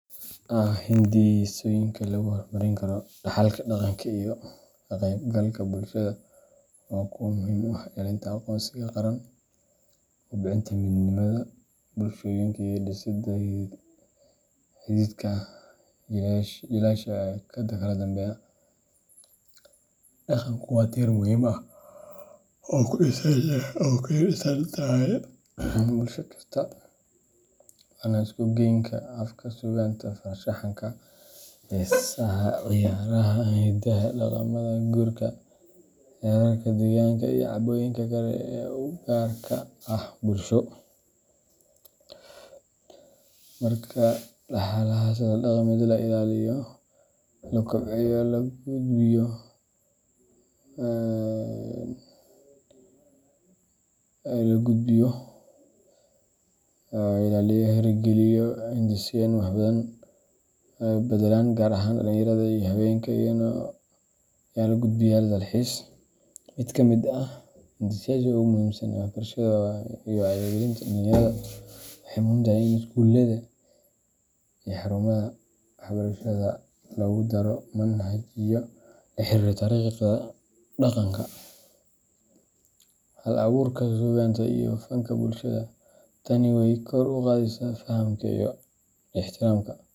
Hindisooyinka lagu horumarin karo dhaxalka dhaqanka iyo ka qaybgalka bulshada waa kuwo muhiim u ah ilaalinta aqoonsiga qaran, kobcinta midnimada bulshooyinka, iyo dhisidda xidhiidhka jiilasha kala dambeeya. Dhaqanku waa tiir muhiim ah oo ay ku dhisan tahay bulsho kasta; waana isugaynka afka, suugaanta, farshaxanka, heesaha, ciyaaraha hidaha, dhaqamada guurka, xeerarka deegaanka, iyo caadooyinka kale ee u gaarka ah bulsho. Marka dhaxalkaas dhaqameed la ilaaliyo, la kobciyo, lana gudbiyo, wuxuu noqonayaa hanti aan la qiimeyn karin oo wax badan ka taraysa horumarka bulsho iyo kan dhaqaale. Si taas loo xaqiijiyo, waxaa lagama maarmaan ah in la hirgeliyo hindisooyin wax ku ool ah oo dhiirrigeliya ka-qaybgalka bulshada oo dhan — gaar ahaan dhalinyarada iyo haweenka si ay iyaguna u noqdaan ilaalinayaal iyo gudbiyaal dhaxalkaas. Mid ka mid ah hindiseyaasha ugu muhiimsan waa waxbarashada iyo wacyigelinta dhallinyarada. Waxay muhiim tahay in iskuullada iyo xarumaha waxbarasho lagu daro manhajyo la xiriira taariikhda dhaqanka, hal-abuurka suugaanta, iyo fanka bulshada. Tani waxay kor u qaadaysaa fahamka iyo ixtiraamka.